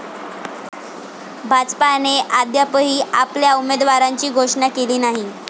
भाजपाने अद्यापही आपल्या उमेदवारांची घोषणा केली नाही.